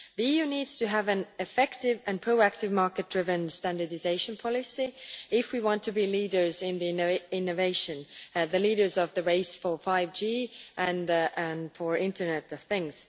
The EU needs to have an effective and proactive market driven standardisation policy if we want to be leaders in innovation, the leaders of the race for 5G and for the Internet of Things.